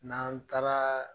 N'an taara